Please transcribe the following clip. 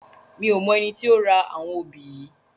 Mi ó mò èni ti ó rá áwòn óbi yi